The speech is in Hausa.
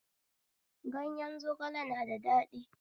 Gayen zogale na da daɗi